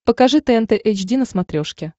покажи тнт эйч ди на смотрешке